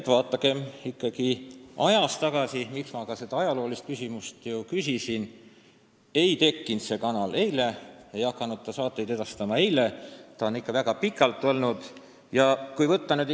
Aga vaadakem ikka ajas ka tagasi – see telekanal ei tekkinud täna ega hakanud saateid edastama eile, ta on väga pikalt olnud ja probleeme pole ju olnud.